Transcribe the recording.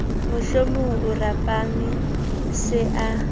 mohlohlwa o rapame se a